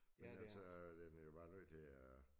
Men altså den er jo bare nødt til at